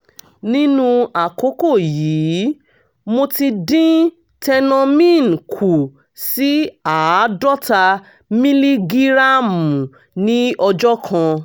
nínú àkókò yìí mo ti dín tenormin kù sí àádọ́ta mílígíráàmù ní ọjọ́ kan